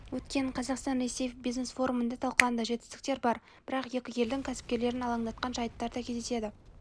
өткен қазақстан-ресей бизнес форумында талқыланды жетістіктер бар бірақ екі елдің кәсіпкерлерін алаңдатқан жайттар да кездеседі